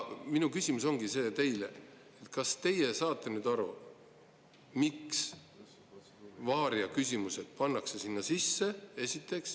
Minu küsimus teile ongi see: kas teie saate nüüd aru, miks varia-küsimused pannakse sinna sisse?